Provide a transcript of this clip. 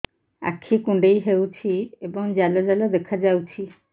ଆଖି କୁଣ୍ଡେଇ ହେଉଛି ଏବଂ ଜାଲ ଜାଲ ଦେଖାଯାଉଛି